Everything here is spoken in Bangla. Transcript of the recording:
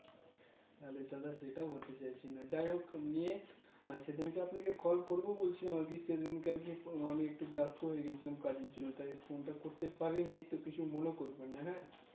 আরে দাদা সেটা বলতে চাইছি না যাই হোক নিয়ে সেদিনকে আপনাকে Call করবো বলছিলাম আরকি সেদিনকে আরকি আমি একটু ব্যাস্ত হয়ে গেছিলাম কাজের জন্য তাই Phone টা করতে পারিনি তো কিছু মনে করবেন না হ্যাঁ